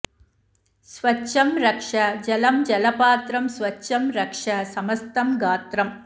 स्वच्छं रक्ष जलं जलपात्रम् स्वच्छं रक्ष समस्तं गात्रम्